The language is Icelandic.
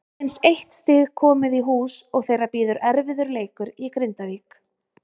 Aðeins eitt stig komið í hús og þeirra bíður erfiður leikur í Grindavík.